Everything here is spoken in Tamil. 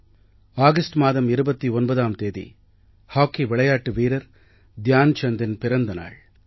ஆகஸ்ட் மாதம் 29ஆம் தேதி ஹாக்கி விளையாட்டு வீரர் த்யான் சந்தின் பிறந்த நாள்